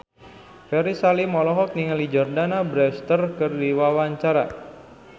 Ferry Salim olohok ningali Jordana Brewster keur diwawancara